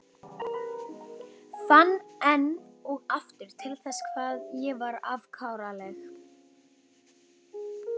Fann enn og aftur til þess hvað ég var afkáralegur.